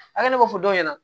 A ne b'a fɔ dɔw ɲɛna